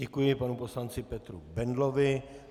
Děkuji panu poslanci Petru Bendlovi.